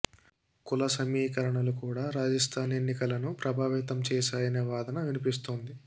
కుల సమీకరణలు కూడా రాజస్థాన్ ఎన్నికలను ప్రభావితం చేశాయనే వాదన వినిపిస్తోంది